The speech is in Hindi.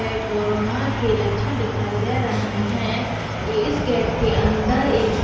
कोरोना के लक्षण दिखाई दे रहे है ये इस गेट के अंदर --